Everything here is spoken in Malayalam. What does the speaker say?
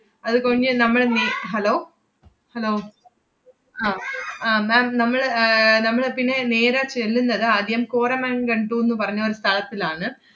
അത് കൊഴിഞ്ഞ് നമ്മള് നി~ hello hello അഹ് ആഹ് ma'am നമ്മള് ഏർ നമ്മള് പിന്നെ നേരെ ചെല്ലുന്നത് ആദ്യം കോരമൻഗണ്ടൂന്ന് പറഞ്ഞ ഒരു സ്ഥലത്തിലാണ്.